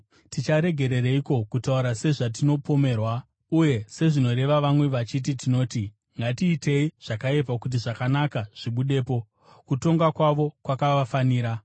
Ticharegerereiko kutaura sezvatinopomerwa, uye sezvinoreva vamwe vachiti tinoti, “Ngatiitei zvakaipa kuti zvakanaka zvibudepo”? Kutongwa kwavo kwakavafanira.